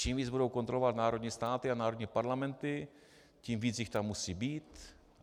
Čím víc budou kontrolovat národní státy a národní parlamenty, tím víc jich tam musí být.